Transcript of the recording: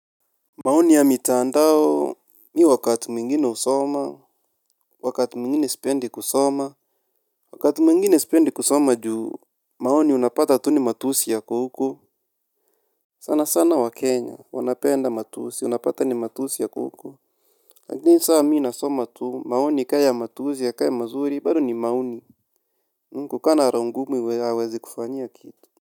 Maoni ya mitandao Mi wakati mwingine husoma. Wakati mwingine sipendi kusoma. Wakati mwingine sipendi kusoma juu. Maoni unapata tu ni matusi yako huku. Sana sana wakenya wanapenda matusi unapata ni matusi yako huko lakini sa mi nasoma tu maoni ka ya matusi yakae mazuri bado ni maoni ni kukaa na roho ngumu haiwezi kufanyia kitu.